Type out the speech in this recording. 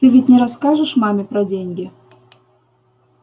ты ведь не расскажешь маме про деньги